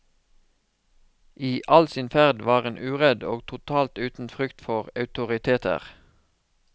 I all sin ferd var hun uredd og totalt uten frykt for autoriteter.